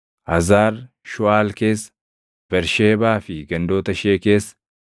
Hazar Shuuʼaal keessa, Bersheebaa fi gandoota ishee keessa,